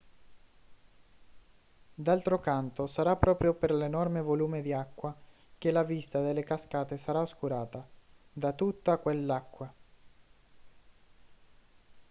d'altro canto sarà proprio per l'enorme volume di acqua che la vista delle cascate sarà oscurata da tutta quell'acqua